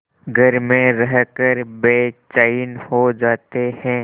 घर में रहकर बेचैन हो जाते हैं